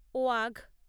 Wagh